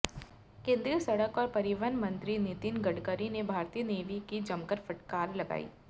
केंद्रीय सड़क और परिवहन मंत्री नितिन गडकरी ने भारतीय नेवी की जमकर फटकार लगाई